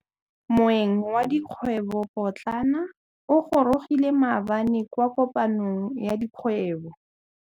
Moêng wa dikgwêbô pôtlana o gorogile maabane kwa kopanong ya dikgwêbô.